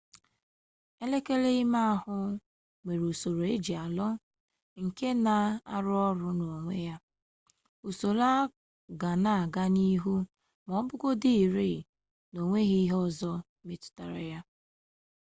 elekere ime ahụ nwere usoro eje alọ nke na-arụ ọrụ n'onwe ya usoro a ga na-aga n'ihu ma asịgodị rịị na onweghi ihe ọzọ metụtara ya